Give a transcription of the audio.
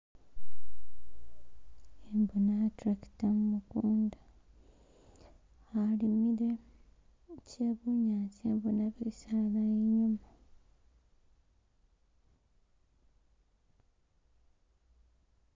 Khembona e tractor mumukunda alimile she bunyaasi khembona bisaala inyuma